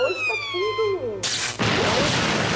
Hoje está tudo, né?